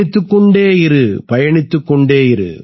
பயணித்துக் கொண்டே இரு பயணித்துக் கொண்டே இரு